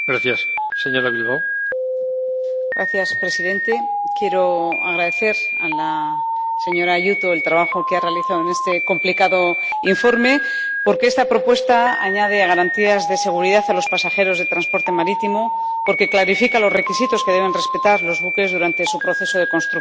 Señor presidente, quiero agradecer a la señora Aiuto el trabajo que ha realizado en este complicado informe, porque esta propuesta añade garantías de seguridad a los pasajeros de transporte marítimo y porque clarifica los requisitos que deben respetar los buques durante su proceso de construcción.